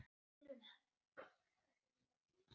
Þar biðu þær mín.